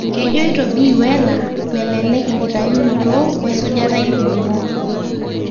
Kejoito Bi Wheeler melelek enkitayunoto wesujata il.o ningo